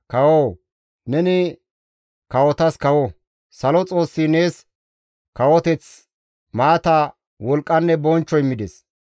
Kawoo! Neni kawotas kawo; salo Xoossi nees kawoteththi, maata, wolqqanne bonchcho immides.